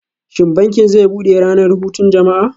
Shin bankin zai bude ranar hutun jama'a?